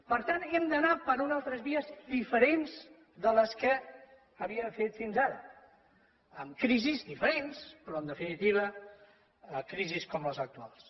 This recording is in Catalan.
per tant hem d’anar per unes altres vies diferents de les que havíem fet fins ara amb crisis diferents però en definitiva crisis com les actuals